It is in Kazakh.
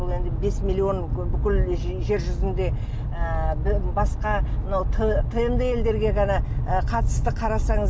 бұл енді бес миллион бүкіл жер жүзінде ыыы басқа мынау тмд елдерге ғана ы қатысты қарасаңыз